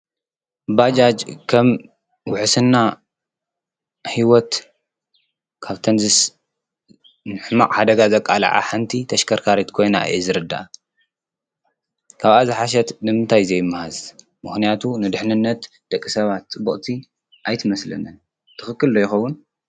ባጃጅ ከም ውሕስና ሕይወት ካብተን ንሕማቅ ሓደጋ ዘቃልዓ ሓንቲ ተሽከርካርት ኮይና እየ ዝርዳኣ። ካብኣ ዝሓሸት ንምንታይ ዘይመሃዝ ምክንያቱ ንድሕንነት ደቂ ሰባት ፅብቕቲ ኣይትመስለንን ትኽክል ዶ ይኸዉን?